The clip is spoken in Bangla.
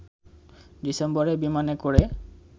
ডিসেম্বরে বিমানে করে